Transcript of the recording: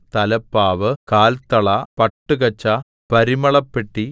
തലപ്പാവ് കാൽത്തള പട്ടുകച്ച പരിമളപ്പെട്ടി